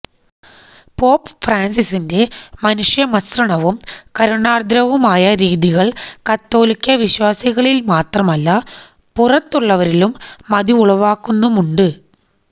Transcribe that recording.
pop ഫ്രാന്സിസിന്റെ മനുഷ്യമസൃണവും കരുണാര്ദ്രവുമായ രീതികള് കത്തോലിക്കാ വിശ്വാസികളില് മാത്രമല്ല പുറത്തുള്ളവരിലും മതിപ്പുളവാക്കുന്നുമുണ്ട്